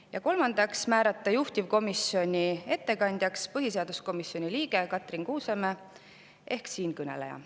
Ja kolmandaks, määrata juhtivkomisjoni ettekandjaks põhiseaduskomisjoni liige Katrin Kuusemäe ehk siinkõneleja.